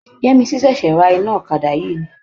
Yẹ́misí ṣẹ̀ṣẹ̀ ra iná ọ̀kadà yìí ni.